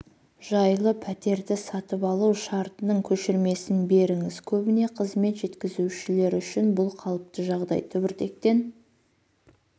жайлы пәтерді сатып алу шартының көшірмесін беріңіз көбіне қызмет жеткізушілер үшін бұл қалыпты жағдай түбіртектен